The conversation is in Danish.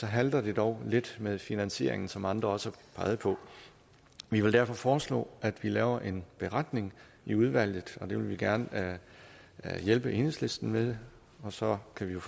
halter det dog lidt med finansieringen som andre også har peget på vi vil derfor foreslå at vi laver en beretning i udvalget det vil vi gerne hjælpe enhedslisten med og så kan